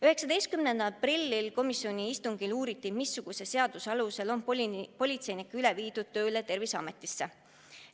19. aprillil peetud komisjoni istungil uuriti, missuguse seaduse alusel on politseinikke üle viidud tööle Terviseametisse.